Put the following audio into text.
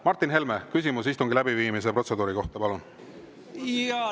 Martin Helme, küsimus istungi läbiviimise protseduuri kohta, palun!